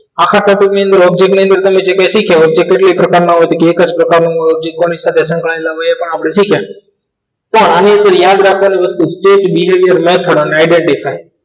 આખા કરતૂત ની અંદર object ને તમે જે કાંઈ શીખ્યા object એટલે એ પ્રકારની એક જ પ્રકારનું ચેક એ પણ આપણે શીખ્યા તો આની અંદર યાદ રાખવાની વસ્તુ કે behaviour અને idea